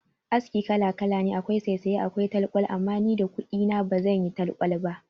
Aski kala kala ne akwai saysaye akwai talkwal, amma ni da kudi na ba zan yi talkwal ba.